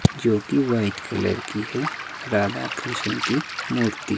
जो कि white colour की है राधा कृष्ण की मूर्ति।